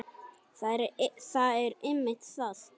Það er einmitt það!